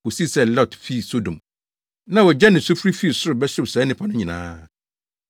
kosii sɛ Lot fii Sodom, na ogya ne sufre fii soro bɛhyew saa nnipa no nyinaa.